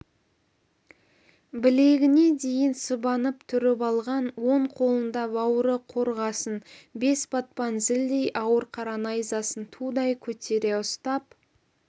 білегіне дейін сыбанып түріп алған оң қолында бауыры қорғасын бес батпан зілдей ауыр қара найзасын тудай көтере ұстап